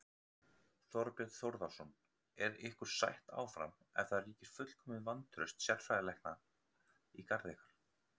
Þorbjörn Þórðarson: Er ykkur sætt áfram ef það ríkir fullkomið vantraust sérfræðilækna í garð ykkar?